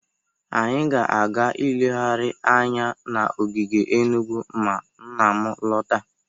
Anyị ga-aga ilegharị anya n'ogige Enugu ma nna m lọta.